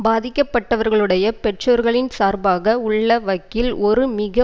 பாதிக்கப்பட்டவர்களுடைய பெற்றோர்களின் சார்பாக உள்ள வக்கீல் ஒரு மிக